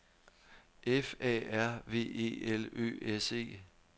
F A R V E L Ø S E